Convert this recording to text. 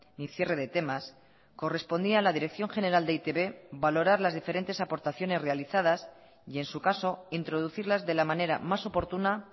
ni cierre de temas correspondía a la dirección general de e i te be valorar las diferentes aportaciones realizadas y en su caso introducirlas de la manera más oportuna